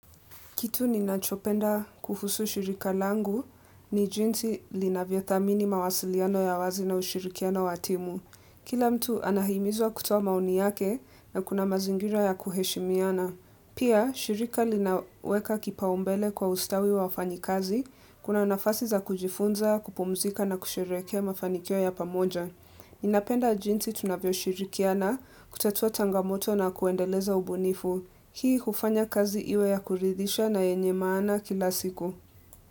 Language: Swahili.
Kitu ninachopenda kuhusu shirika langu, ni jinsi linavyothamini mawasiliano ya wazi na ushirikiano wa timu. Kila mtu anahimizwa kutoa maoni yake na kuna mazingira ya kuheshimiana. Pia, shirika linaweka kipaumbele kwa ustawi wafanyikazi, kuna nafasi za kujifunza, kupumzika na kusherekea mafanikio ya pamoja. Ninapenda jinsi tunavyoshirikiana, kutatua changamoto na kuendeleza ubunifu. Hii hufanya kazi iwe yakuridhisha na yenye maana kila siku.